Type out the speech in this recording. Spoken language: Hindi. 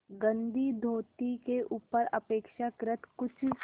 गंदी धोती के ऊपर अपेक्षाकृत कुछ